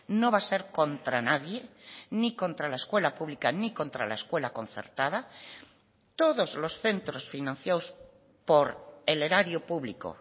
no va a ser contra nadie ni contra la escuela pública ni contra la escuela concertada todos los centros financiados por el erario público